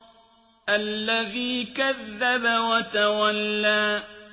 الَّذِي كَذَّبَ وَتَوَلَّىٰ